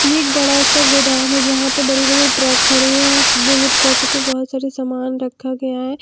ये एक बड़ा सा गोदाम है जहां पे बड़े बड़े ट्रक खड़े हैं दो ट्रक पे बहोत सारे सामान रखा गया है।